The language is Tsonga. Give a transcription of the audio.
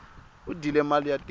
u dyile mali ya tiko